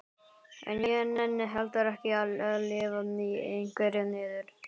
En ég nenni heldur ekki að lifa í einhverri niður